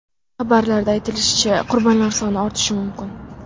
Xabarda aytilishicha, qurbonlar soni ortishi mumkin.